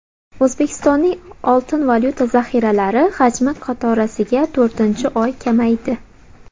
O‘zbekistonning oltin-valyuta zaxiralari hajmi qatorasiga to‘rtinchi oy kamaydi.